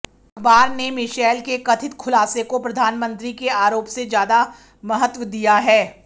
अखबार ने मिशेल के कथित खुलासे को प्रधानमंत्री के आरोप से ज्यादा महत्व दिया है